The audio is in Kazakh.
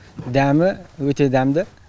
дәмі өте дәмді